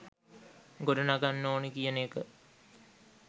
ගොඩනගන්න ඕනි කියන එක